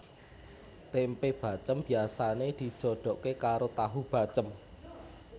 Tempe bacém biasane dijodoke karo tahu bacém